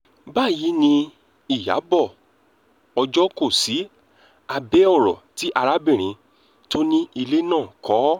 báyìí ni ìyàbọ̀ ọjọ́ kò sí abẹ́ ọ̀rọ̀ tí arábìnrin tó ni ilé náà kọ